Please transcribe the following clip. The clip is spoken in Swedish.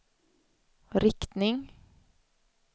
riktning